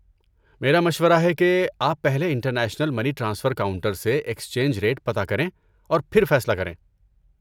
میرا مشورہ ہے کہ آپ پہلے انٹرنیشنل منی ٹرانسفر کاؤنٹر سے ایکسچنج ریٹ پتہ کریں اور پھر فیصلہ کریں۔